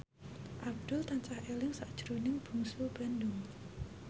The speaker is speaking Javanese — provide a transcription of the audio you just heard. Abdul tansah eling sakjroning Bungsu Bandung